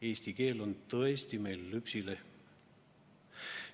Eesti keel on tõesti meil lüpsilehm.